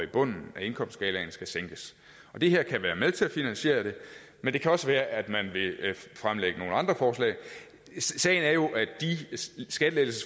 bunden af indkomstskalaen skal sænkes det her kan være med til at finansiere det men det kan også være at man vil fremlægge nogle andre forslag sagen er jo at de skattelettelser